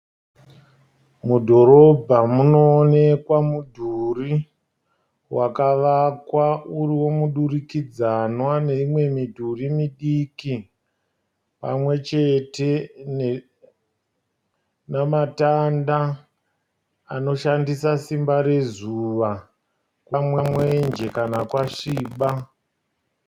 Mudhorobha munoonekwa mudhuri wakavakwa uri wemudurikidzanwa neimwe midhuri midiki pamwe chete namatanda anoshandisa simba rezuva kukama mwenje kana kwasviba.